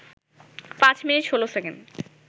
৫ minute ১৬ second